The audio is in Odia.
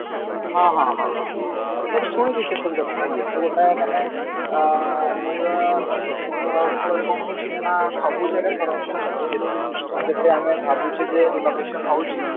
ହଁ ହଁ ହଁ ହଁ ହଁ ମୁଁ ବି ଶୁଣିଛି ସେ ସବୁ କଥା ଏବେତ ମାନେ ଅ କହିବା କ ଫଳରେ କଣ ହଉଛି ନା ସବୁ ଜାଗାରେ corruption ଚାଲିଛି ଯେତେ system ଯେତେ ଆମେ ଭାବୁଛେ ଯେ renovation ହଉଛି